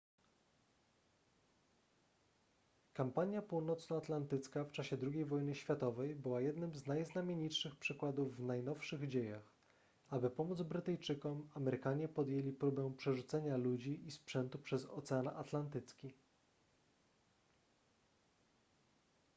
kampania północnoatlantycka w czasie ii wojny światowej była jednym z najznamienitszych przykładów w najnowszych dziejach aby pomóc brytyjczykom amerykanie podjęli próbę przerzucenia ludzi i sprzętu przez ocean atlantycki